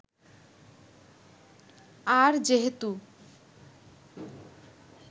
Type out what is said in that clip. আর যেহেতু